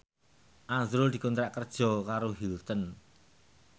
azrul dikontrak kerja karo Hilton